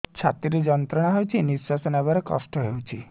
ଛାତି ରେ ଯନ୍ତ୍ରଣା ହଉଛି ନିଶ୍ୱାସ ନେବାରେ କଷ୍ଟ ହଉଛି